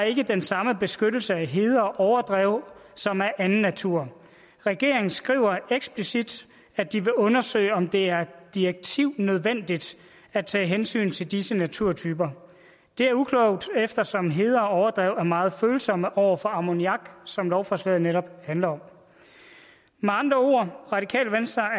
ikke den samme beskyttelse af heder og overdrev som af anden natur regeringen skriver eksplicit at de vil undersøge om det er direktivnødvendigt at tage hensyn til disse naturtyper det er uklogt eftersom heder og overdrev er meget følsomme over for ammoniak som lovforslaget netop handler om med andre ord